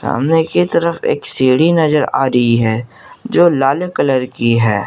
सामने की तरफ एक सीढ़ी नजर आ रही है जो लाल कलर की है।